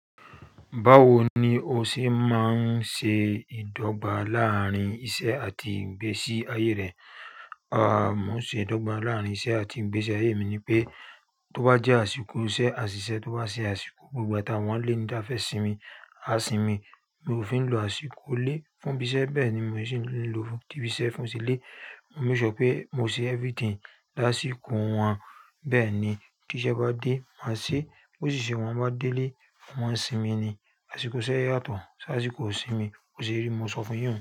Báwo ni o ṣe máa ń ṣe ìdọ́gba láàárín iṣẹ́ àti ìgbésí ayé rẹ? À, mo ṣe ìdọ́gba láàárín iṣẹ́ àti ìgbésí ayé mi ni pé, tó bá jẹ́ àsìkò iṣẹ́, àṣìṣẹ́, tó bá jẹ́ àsìkò gbogbo àtàwọn ẹni tí a fẹ́ sinmi á sinmi. Mi ò fi ń lo àsìkò lé fún ibi iṣẹ́ bẹ́ẹ̀ ni mò ṣì ń lò fún ti ibi iṣẹ́ fún ti ilé. Mo make sure pé mo ṣe everything lásìkò wọn. Bẹ́ẹ̀ ni tí iṣẹ́ bá dé, màá ṣe é. Ó sì ṣe wọ́n bá délé mo máa ń sinmi ni. Àsìkò iṣẹ́ yàtọ̀ sí àsìkò ìsinmi. B'óṣe rí n mo sọ fún yín.